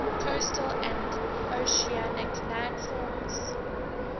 coastal and oceanic landforms